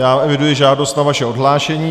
Já eviduji žádost o vaše odhlášení.